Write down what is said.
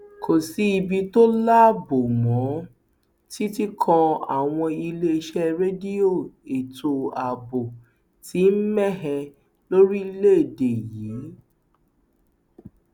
kò sí ibi tó láàbò mọ ọ títí kan àwọn iléeṣẹ rédíò ètò ààbò ti mẹhẹ lórílẹèdè yìí